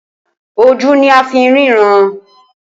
Ojú ni a fi ń ríran